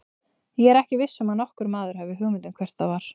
Ég er ekki viss um að nokkur maður hafi hugmynd um hvert það var.